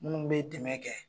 Minnu bɛ dɛmɛ kɛ